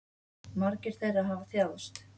Margir þeirra hafa þjáðst.